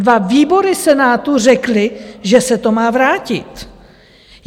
Dva výbory Senátu řekly, že se to má vrátit.